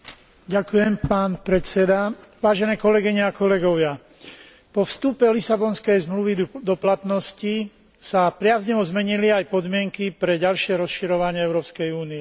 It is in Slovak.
Ďakujem pán predseda, vážené kolegyne a kolegovia, po vstupe Lisabonskej zmluvy do platnosti sa priaznivo zmenili aj podmienky pre ďalšie rozširovanie Európskej únie.